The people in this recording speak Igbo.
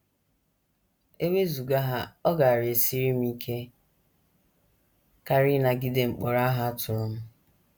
E wezụga ha, ọ gaara esiri m ike karị ịnagide mkpọrọ ahụ a tụrụ m.